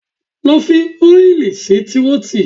Lọ fi oil sí Tírótù!